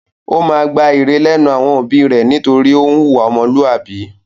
Ó máa gba ìre lẹ́nu àwọn òbí rẹ̀ nítorí ó ń hùwà ọmọlúàbí.